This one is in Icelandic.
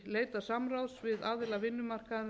leita samráðs við aðila vinnumarkaðarins